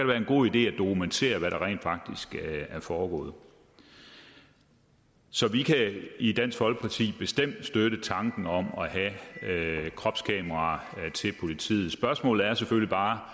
være en god idé at dokumentere hvad der rent faktisk er foregået så vi kan i dansk folkeparti bestemt støtte tanken om at have kropskameraer til politiet spørgsmålet er selvfølgelig bare